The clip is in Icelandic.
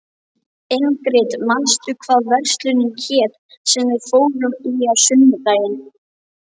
Ingrid, manstu hvað verslunin hét sem við fórum í á sunnudaginn?